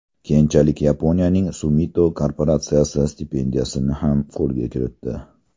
Keyinchalik Yaponiyaning Sumitomo korporatsiyasi stipendiyasini ham qo‘lga kiritdi.